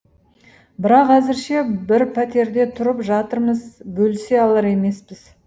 бірақ әзірше бір пәтерде тұрып жатырмыз бөлісе алар емеспіз